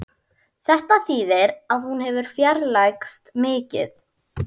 Þetta þýðir að hún hefur fjarlægst mikið